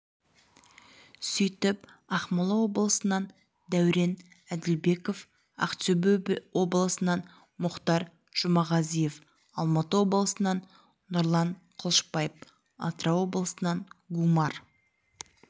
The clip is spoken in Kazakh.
сөйтіп ақмола облысынан дәурен әділбеков ақтөбе облысынан мухтар жұмағазиев алматы облысынан нұрлан қылышбаев атырау облысынан гумар